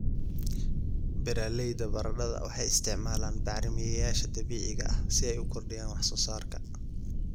Beeralayda baradhada waxay isticmaalaan bacrimiyeyaasha dabiiciga ah si ay u kordhiyaan wax soo saarka.